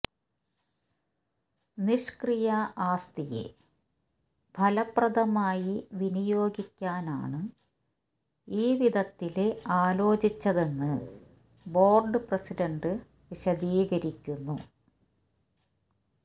നിഷ്ക്രിയ ആസ്തിയെ ഫലപ്രദമായി വിനിയോഗിക്കാനാണ് ഈ വിധത്തില് ആലോചിച്ചതെന്ന് ബോര്ഡ് പ്രസിഡണ്ട് വിശദീകരിക്കുന്നു